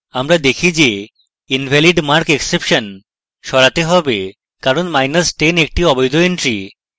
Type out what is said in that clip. আমরা দেখি যে invalidmarkexception সরাতে হবে কারণ10 একটি অবৈধ entry